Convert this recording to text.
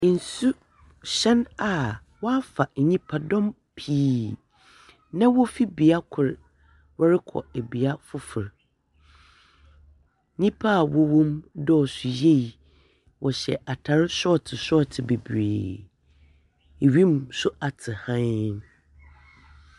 Nsuhɛn a wɔafa nyimpadɔm pii na wofi bea kor wɔrokɔ bea fofor. Nyimpa a wɔwɔ mu dɔɔ so yie, wɔhyɛ atar sɔɔtse sɔɔtse beberee. Wimu so atsew hann.